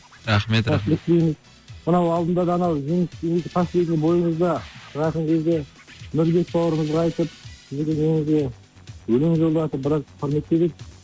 рахмет рахмет мынау алдында да анау последний бойыңызда шығатын кезде нұрбек бауырыңызға айтып игілігіңізге өлең жолдатып біраз кұрметтеп едік